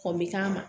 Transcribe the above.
me k'a ma